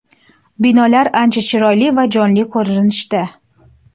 Binolar ancha chiroyli va jonli ko‘rinishda.